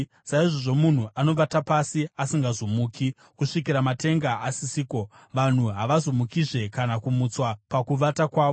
saizvozvo munhu anovata pasi asingazomuki; kusvikira matenga asisiko, vanhu havazomukizve kana kumutswa pakuvata kwavo.